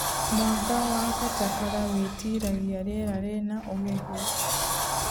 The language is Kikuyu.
Mwanga wa katakara wĩtiragia rĩera rĩna ũhehu